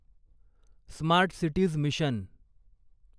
smart cities mission